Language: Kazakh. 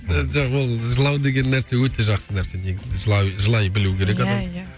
ы жоқ ол жылау деген нәрсе өте жақсы нәрсе негізінде жылай жылай білу керек адам иә иә